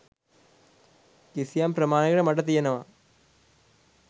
කිසියම් ප්‍රමාණයකට මට තියෙනවා